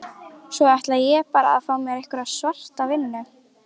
Svo ætlaði ég bara að fá mér einhverja svarta vinnu.